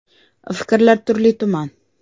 Fikrlar turli tuman.